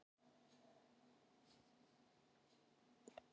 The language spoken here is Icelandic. Ég sé þig ekki.